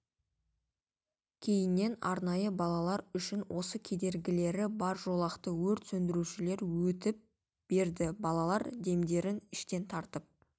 кейіннен арнайы балалар үшін осы кедергілері бар жолақты өрт сөндірушілері өтіп берді балалар демдерін іштен тартып